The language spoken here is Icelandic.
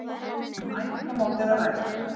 Um æfingamót er að ræða.